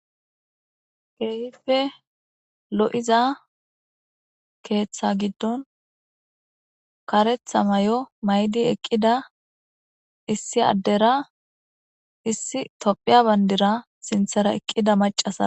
Keehippe lo'iza keetha gidon karetha mayo mayid eqida , issi adera issi tophiye bandira sinthara eqida macasara ...